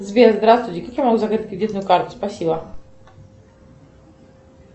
сбер здравствуйте как я могу закрыть кредитную карту спасибо